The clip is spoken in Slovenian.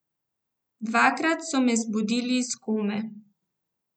Dvakrat so me zbudili iz kome.